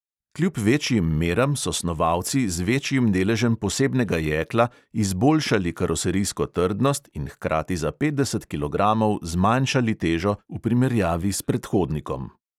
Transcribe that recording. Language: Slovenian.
Kljub večjim meram so snovalci z večjim deležem posebnega jekla izboljšali karoserijsko trdnost in hkrati za petdeset kilogramov zmanjšali težo v primerjavi s predhodnikom.